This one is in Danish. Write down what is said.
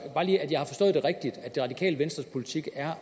det radikale venstres politik at